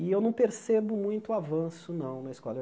E eu não percebo muito avanço, não, na escola.